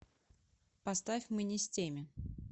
поставь мы не с теми